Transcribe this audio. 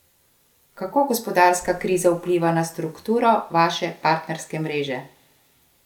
Kako gospodarska kriza vpliva na strukturo vaše partnerske mreže?